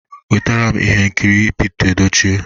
Wetaram ihe nkiri Pete Edochie!